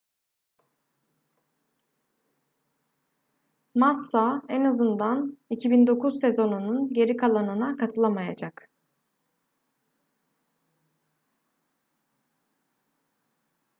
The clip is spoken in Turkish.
massa en azından 2009 sezonunun geri kalanına katılamayacak